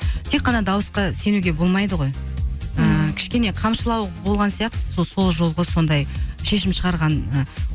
тек қана дауысқа сенуге болмайды ғой ііі кішкене қамшылау болған сияқты сол жолғы сондай шешім шығарғаны